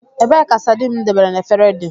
Ebee ka sardine m debere na efere dị?